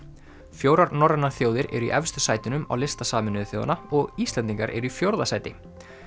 fjórar norrænar þjóðir eru í efstu sætunum á lista Sameinuðu þjóðanna og Íslendingar eru í fjórða sæti